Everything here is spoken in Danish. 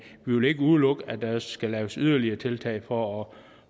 vi vil ikke udelukke at der skal laves yderligere tiltag få